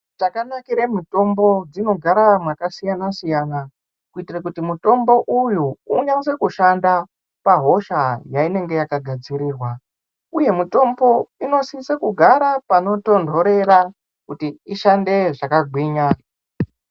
Chakanakire mitombo inogara makasiyanasiyana kuitire kuti mutombo uyu unase kushanda pahosha yainenge yakagadzirirwa. Uye mitombo inosise kugara panotonhorera kuti ishande zvakagwinya.